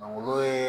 olu ye